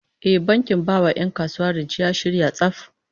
Eh, bankin bai wa 'yan kasuwa rance ya shirya tsaf